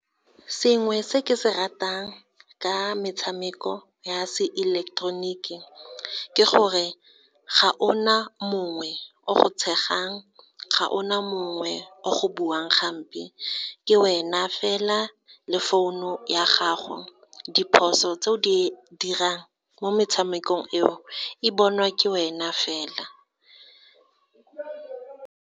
Sengwe se ke se ratang ka metshameko ya se eleketeroniki ke gore, ga ona mongwe o go tshegang, ga ona mongwe o go buang hampe, ke wena fela le founu ya gago, diphoso tse o di dirang mo metshamekong eo, e bonwa ke wena fela.